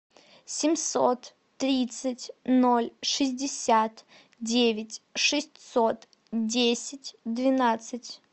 семьсот тридцать ноль шестьдесят девять шестьсот десять двенадцать